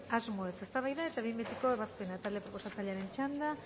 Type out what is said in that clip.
asmoez eztabaida eta behin betiko ebazpena talde proposatzailearen txanda